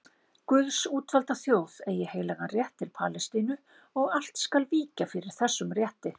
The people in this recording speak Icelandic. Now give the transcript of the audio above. Guðs útvalda þjóð eigi heilagan rétt til Palestínu og allt skal víkja fyrir þessum rétti.